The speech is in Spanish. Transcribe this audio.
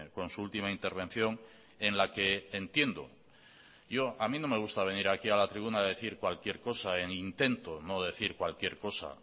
con su última intervención en la que entiendo yo a mí no me gusta venir aquí a la tribuna a decir cualquier cosa e intento no decir cualquier cosa